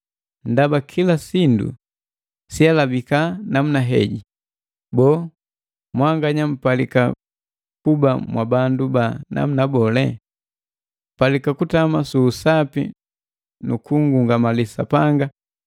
Ndaba kila sindu siihalibika namuna heji, boo, mwanganya mpalika kuba mwabandu ba namuna bole? Mpalika kutama su usapi nu kungungamali Sapanga,